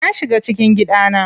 Na shiga cikin gidana.